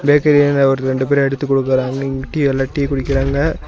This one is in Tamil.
பேக்கரில ஒரு ரெண்டு பேரு எடுத்து குடுக்குறாங்க. இங்க டீ எல்லா டீ குடிக்கறாங்க.